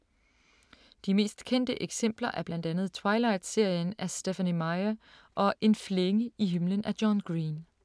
De mest kendte eksempler er blandt andet Twilight-serien af Stephanie Meyer og En flænge i himlen af John Green.